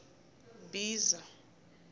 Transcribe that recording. mbhiza